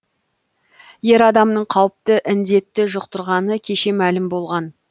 ер адамның қауіпті індетті жұқтырғаны кеше мәлім болған